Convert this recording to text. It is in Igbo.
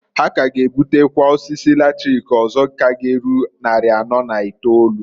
Ha k'aga ebutekwa osisi latrik ọzọ g'erucha nnarị anọọ na itolu.